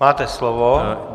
Máte slovo.